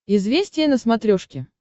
известия на смотрешке